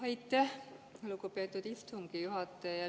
Aitäh, lugupeetud istungi juhataja!